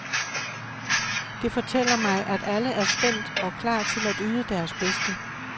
Det fortæller mig, at alle er spændt og klar til at yde deres bedste.